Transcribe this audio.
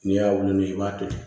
N'i y'a wolo i b'a to